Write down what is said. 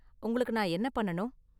உங்களுக்கு நான் என்ன பண்ணனும்?